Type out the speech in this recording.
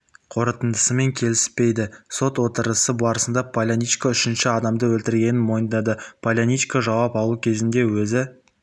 қорытындысымен келіспейді сот отырысы барысында поляничконың үшінші адамды өлтіргенін мойындады поляничко жауап алу кезінде өзі